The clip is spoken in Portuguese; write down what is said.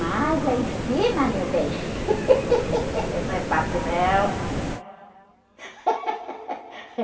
Mas lá em cima, meu bem, não é fácil, não.